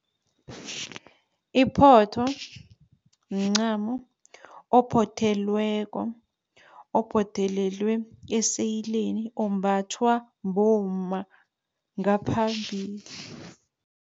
Iphotho mncamo ophothelweko, ophothelelwe eseyileni ombathwa bomma ngaphambili.